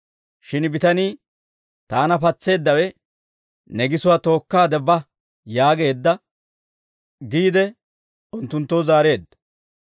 Shin bitanii, «Taana patseeddawe, ‹Ne gisuwaa tookkaade ba› yaageedda» giide unttunttoo zaareedda.